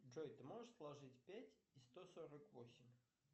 джой ты можешь сложить пять и сто сорок восемь